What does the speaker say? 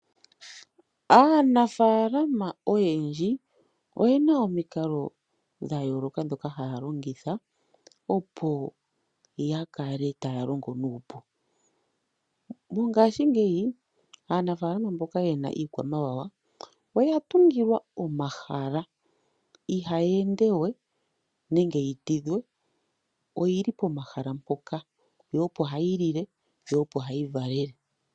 Aanafaalama oyendji oyena omikalo dha yooloka ndhoka haa longitha opo yakale taa longo nuupu. Mongashingeyi aanafaalama mboka yena iikwamwawa oya tungilwa omahala. Iikwamawawa ihayi endewe nenge yi tidhwe, oyili pomahala mpoka opo hayi lile, po opo hayi lala.